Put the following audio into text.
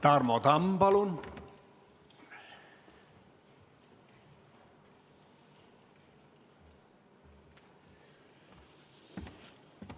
Tarmo Tamm, palun!